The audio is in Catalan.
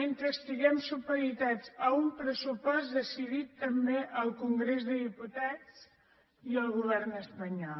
mentre estiguem supeditats a un pressupost decidit també al congrés dels diputats i al govern espanyol